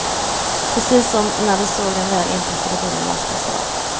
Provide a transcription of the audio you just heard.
Precis som när de såg den väl inpackade bilen lastas av.